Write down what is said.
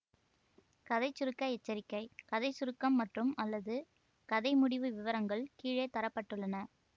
கதை சுருக்க எச்சரிக்கை கதை சுருக்கம் மற்றும்அல்லது கதை முடிவு விவரங்கள் கீழே தர பட்டுள்ளன